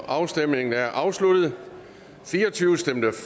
afstemningen er afsluttet